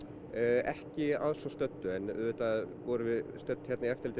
ekki að svo stöddu en auðvitað vorum við stödd hér í eftirliti